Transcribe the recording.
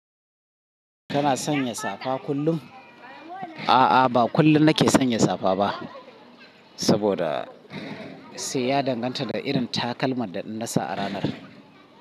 Kana sanya safa kullum? A'a, ba kullum nake sanya safa ba saboda sai ya danganta da irin takalman da na sa a ranar.